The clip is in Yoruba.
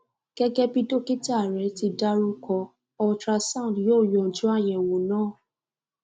gẹ́gẹ́ bí dókítà rẹ̀ ti dárúkọ ultrasound yó yanjú àyẹ̀wò náà